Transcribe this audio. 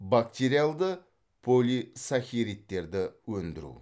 бактериалды өндіру